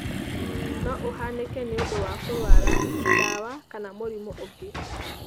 No ũhanĩke nĩũndũ wa kũrwara, ndawa kana mũrimũ ũngĩ.